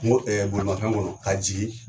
N ko bolimafɛn kɔnɔ, ka jigi